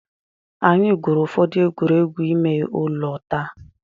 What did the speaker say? Anyị gwurù ụfọdụ egwuregwu ime ụlọ taa.